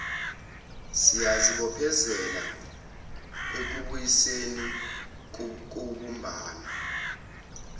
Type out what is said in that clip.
siyazibophezela ekubuyisaneni kubumbano